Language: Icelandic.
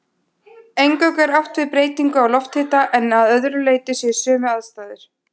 Eingöngu er átt við breytingu á lofthita en að öðru leyti séu sömu aðstæður.